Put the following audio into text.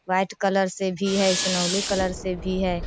White colour से भी है एसनौलि कलर से भी है।